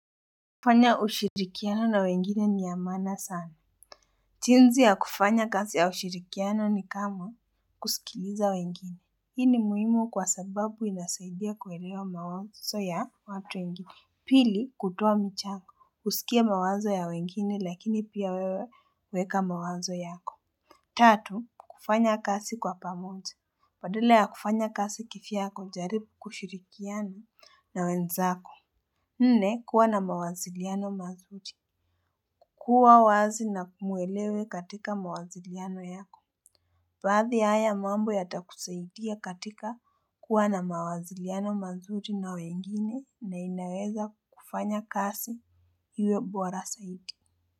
Kufanya ushirikiano na wengine niyamana sana. Jinsi ya kufanya kasi ya ushirikiano ni kama kusikiliza wengine. Hii ni muhimu kwasababu inasaidia kuelewa mawazo ya watu wengine. Pili kutoa mchangu, kusikia mawazo ya wengine lakini pia wewe weka mawazo yako. Tatu, kufanya kazi kwa pamoja. Badala ya kufanya kazi kivyako jaribu kushirikiana na wenzako. Nne kua na mawasiliano mazuri. Kua wazi na kumwelewe katika mawasiliano yako. Baadhi ya haya mambo yatakusaidia katika kua na mawasiliano mazuri na wengine na inaweza kufanya kazi iwe bora zaidi.